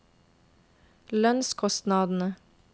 lønnskostnadene